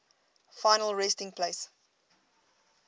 final resting place